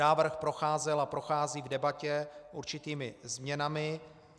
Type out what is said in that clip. Návrh procházel a prochází k debatě určitými změnami.